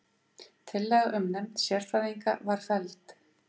Tillaga um nefnd sérfræðinga var felld